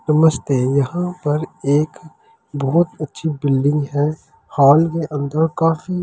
नमस्ते यहां पर एक बहुत अच्छी बिल्डिंग है हॉल में काफी लोग।